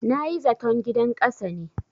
Na yi zaton gidan ƙasa ne.